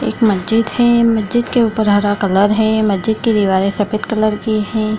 एक मस्जिद है मस्जिद के ऊपर हरा कलर है मस्जिद की दीवारे सफ़ेद कलर की हैं।